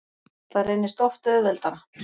Það reynist oft auðveldara.